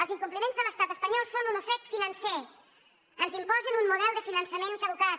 els incompliments de l’estat espanyol són un ofec financer ens imposen un model de finançament caducat